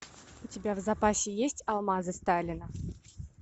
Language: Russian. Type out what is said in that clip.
у тебя в запасе есть алмазы сталина